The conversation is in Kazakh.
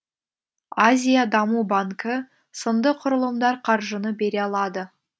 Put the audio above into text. азия даму банкі сынды құрылымдар қаржыны бере алады